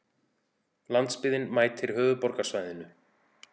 Landsbyggðin mætir höfuðborgarsvæðinu